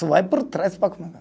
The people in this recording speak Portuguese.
Só vai por trás para